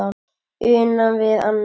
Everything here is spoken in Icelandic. Una við annað.